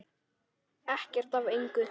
Ekkert af engu.